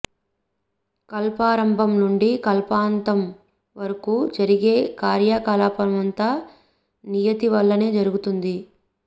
కల్పారంభం నుండి కల్పాంతం వరకు జరిగే కార్య కలాపమంతా నియతి వల్లనే జరుగుతుంది